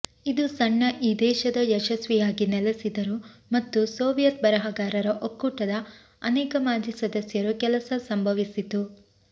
ಇದು ಈ ಸಣ್ಣ ದೇಶದ ಯಶಸ್ವಿಯಾಗಿ ನೆಲೆಸಿದರು ಮತ್ತು ಸೋವಿಯತ್ ಬರಹಗಾರರ ಒಕ್ಕೂಟದ ಅನೇಕ ಮಾಜಿ ಸದಸ್ಯರು ಕೆಲಸ ಸಂಭವಿಸಿತು